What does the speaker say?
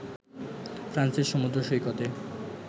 ফ্রান্সের সমুদ্র সৈকতে